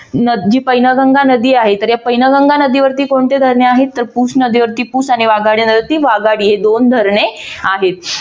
ही पैनगंगा नदी आहे. तर या पैनगंगा नदीवरती कोणती धरणे आहेत? पुश नदीवरती पुश आणि वाघाडी नदीवरती वाघाडी ही दोन धरणे आहेत.